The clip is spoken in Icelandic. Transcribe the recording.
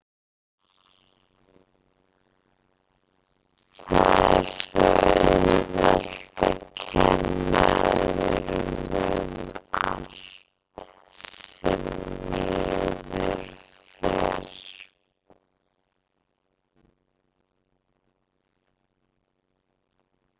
Það er svo auðvelt að kenna öðrum um allt sem miður fer.